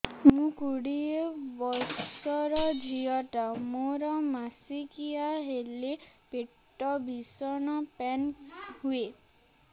ମୁ କୋଡ଼ିଏ ବର୍ଷର ଝିଅ ଟା ମୋର ମାସିକିଆ ହେଲେ ପେଟ ଭୀଷଣ ପେନ ହୁଏ